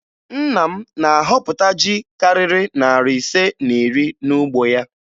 Nna m na-ahọpụta ji karịrị narị ise na iri n'ugbo ya